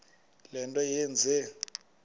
le nto yenze